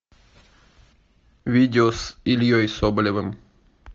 видео с ильей соболевым